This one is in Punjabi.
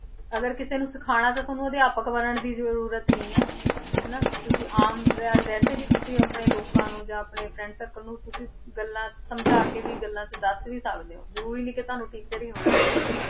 ਅਗਰ ਕਿਸੇ ਨੂੰ ਸਿਖਾਉਣਾ ਤੇ ਤੁਹਾਨੂੰ ਅਧਿਆਪਕ ਬਣਨ ਦੀ ਜ਼ਰੂਰਤ ਨਹੀਂ ਹੈ ਹਨਾ ਤੁਸੀਂ ਆਮ ਵੈ~ ਵੈਸੇ ਹੀ ਤੁਸੀਂ ਆਪਣੇ ਲੋਕਾਂ ਨੂੰ ਜਾਂ ਆਪਣੇ friend circle ਨੂੰ ਤੁਸੀਂ ਗੱਲਾਂ ਸਮਝਾ ਕੇ ਵੀ ਗੱਲਾਂ 'ਚ ਦੱਸ ਵੀ ਸਕਦੇ ਹੋ, ਜ਼ਰੂਰੀ ਨਹੀਂ ਕਿ ਤੁਹਾਨੂੰ teacher ਹੀ ਹੋਣਾ ਚਾਹੀਦਾ ਹੈ।